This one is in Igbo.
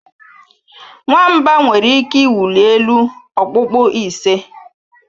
Nwamba nwere ike ịwụli elu okpukpu ise